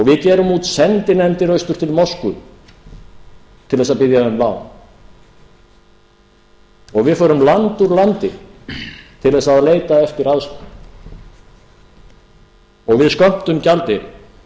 við gerum út sendinefndir austur til moskvu til þess að biðja um lán og við förum land úr landi til þess að leita eftir aðstoð og við skömmtum gjaldeyri